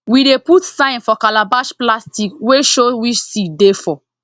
we dey put sign for calabash plastic wey show which seed dey for